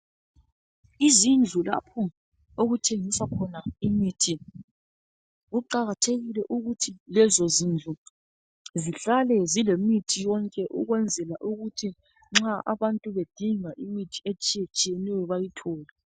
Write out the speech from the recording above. Izindlu lapho okuthengiswa khona imithi kuqakathekile ukuthi lezozindlu zihlale zilemithi yonke ukwenzela ukuthi nxa abantu bedinga imithi etshiyetshiyeneyo bayithole.